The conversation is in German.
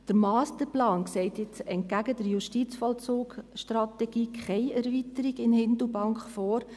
Der Masterplan sieht jetzt entgegen der JVS keine Erweiterung in Hindelbank vor.